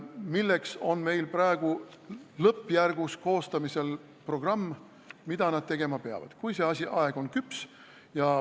Meil on praegu lõppjärgus programmi koostamine, see näeb ette, mida nad tegema peavad, kui aeg on küps.